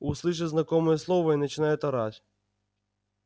услышит знакомое слово и начинает орать